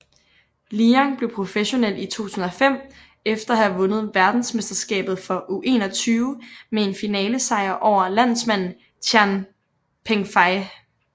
Liang blev professionel i 2005 efter at have vundet verdensmesterskabet for U21 med en finalesejr over landsmanden Tian Pengfei